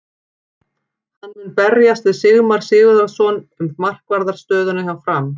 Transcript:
Hann mun berjast við Sigmar Sigurðarson um markvarðar stöðuna hjá Fram.